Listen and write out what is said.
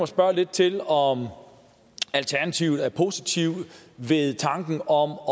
spørge lidt til om alternativet er positive ved tanken om